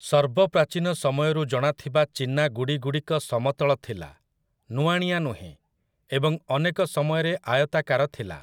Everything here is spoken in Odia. ସର୍ବପ୍ରାଚୀନ ସମୟରୁ ଜଣାଥିବା ଚୀନା ଗୁଡ଼ିଗୁଡ଼ିକ ସମତଳ ଥିଲା, ନୁଆଁଣିଆ ନୁହେଁ, ଏବଂ ଅନେକ ସମୟରେ ଆୟତାକାର ଥିଲା ।